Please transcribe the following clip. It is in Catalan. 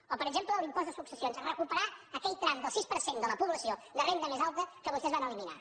o per exemple l’impost de successions recuperar aquell tram del sis per cent de la població de renda més alta que vostès van eliminar